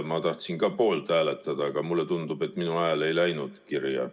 Ma tahtsin poolt hääletada, aga mulle tundub, et minu hääl ei läinud kirja.